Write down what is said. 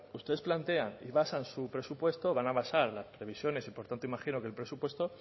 ustedes plantean y basan su presupuesto van a basar las previsiones y por tanto imagino que el presupuesto